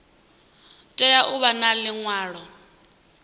tea u vha na liṅwalo